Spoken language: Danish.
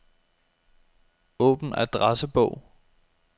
Åbn adressebog.